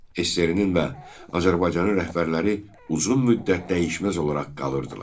SSRİ-nin və Azərbaycanın rəhbərləri uzun müddət dəyişməz olaraq qalırdılar.